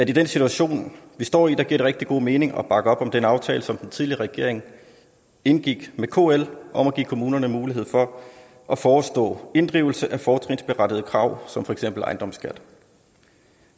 i den situation vi står i giver rigtig god mening at bakke op om den aftale som den tidligere regering indgik med kl om at give kommunerne mulighed for at forestå inddrivelsen af fortrinsberettigede krav som for eksempel ejendomsskat